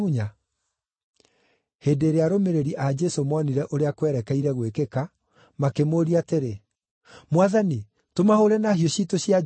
Hĩndĩ ĩrĩa arũmĩrĩri a Jesũ monire ũrĩa kwerekeire gwĩkĩka, makĩmũũria atĩrĩ, “Mwathani, tũmahũũre na hiũ ciitũ cia njora?”